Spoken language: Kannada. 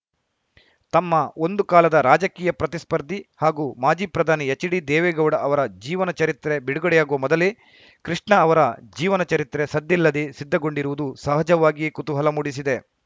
ತಮ್ಮ ಒಂದು ಕಾಲದ ರಾಜಕೀಯ ಪ್ರತಿಸ್ಫರ್ಧಿ ಹಾಗೂ ಮಾಜಿ ಪ್ರಧಾನಿ ಎಚ್‌ಡಿದೇವೇಗೌಡ ಅವರ ಜೀವನ ಚರಿತ್ರೆ ಬಿಡುಗಡೆಯಾಗುವ ಮೊದಲೇ ಕೃಷ್ಣ ಅವರ ಜೀವನ ಚರಿತ್ರೆ ಸದ್ದಿಲ್ಲದೆ ಸಿದ್ಧಗೊಂಡಿರುವುದು ಸಹಜವಾಗಿಯೇ ಕುತೂಹಲ ಮೂಡಿಸಿದೆ